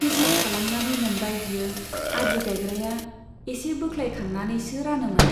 हिसाब खालामनानै मोनबाय बियो, आदि गाइग्राया एसे बोख्लायखांनानैसो रानोमोन।